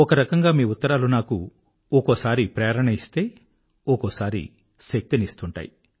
ఒక రకంగా మీ ఉత్తరాలు నాకు ఒక్కోసారి ప్రేరణనిస్తే ఒక్కోసారి శక్తి నిస్తుంటాయి